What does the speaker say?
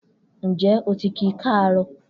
Njẹ oti ki kaaro?